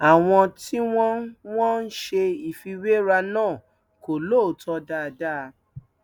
àwọn tí wọn ń wọn ń ṣe ìfiwéra náà kò lóòótọ dáadáa